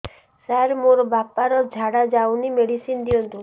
ସାର ମୋର ବାପା ର ଝାଡା ଯାଉନି ମେଡିସିନ ଦିଅନ୍ତୁ